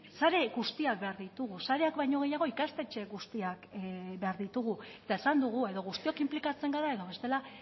sare guztiak behar ditugu sareak baino gehiago ikastetxe guztiak behar ditugu eta esan dugu edo guztiok inplikatzen gara edo bestela